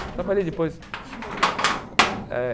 Eu trabalhei depois... Como você como você entrou nesse trabalho? Eh